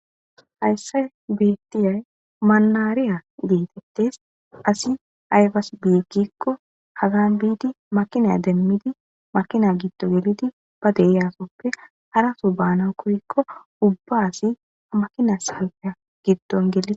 Hayssa bettiyay manahariya gettetes hayssi aybas go'ize gize giza giddiko hagan makina demidi makina giddo gelidi hara soho bana koyko ubba asi ha makina gellides